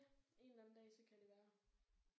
Ja en eller anden dag så kan det være